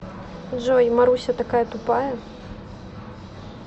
джой маруся такая тупая